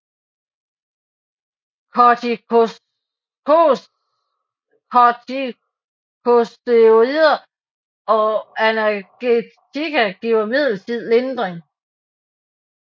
Kortikosteroider og analgetika giver midlertidig lindring